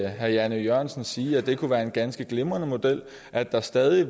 herre jan e jørgensen sige at det kunne være en ganske glimrende model og at der stadig